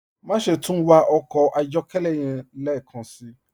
Máṣẹ̀ tún wà ọkọ ayọ̀kẹlẹ́ yẹ̀n lẹ́kánsí.